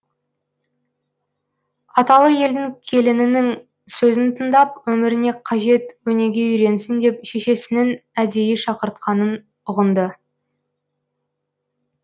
аталы елдің келінінің сөзін тыңдап өміріне қажет өнеге үйренсін деп шешесінің әдейі шақыртқанын ұғынды